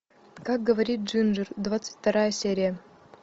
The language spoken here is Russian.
как говорит джинджер двадцать вторая серия